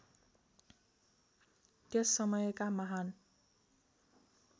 त्यस समयका महान्